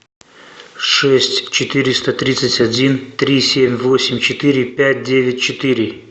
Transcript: шесть четыреста тридцать один три семь восемь четыре пять девять четыре